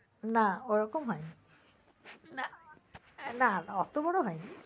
না ওরকম হয়নি। না না অত বড় হয়নি।